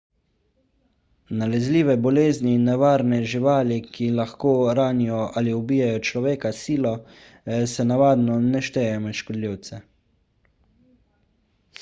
nalezljive bolezni in nevarne živali ki lahko ranijo ali ubijejo človeka s silo se navadno ne štejejo med škodljivce